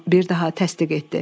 bir daha təsdiq etdi.